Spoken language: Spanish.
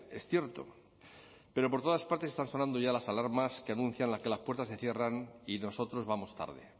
es cierto pero por todas partes están sonando ya las alarmas que anuncian que las puertas se cierran y nosotros vamos tarde